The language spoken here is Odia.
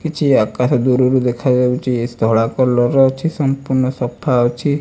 କିଛି ଆକାଶ ଦୂରୁରୁ ଦେଖାଯାଉଚି ଧଳା କଲର୍ ଅଛି ସଂପୁର୍ଣ୍ଣ ସଫା ଅଛି।